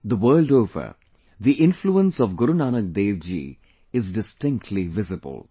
The world over, the influence of Guru Nanak Dev ji is distinctly visible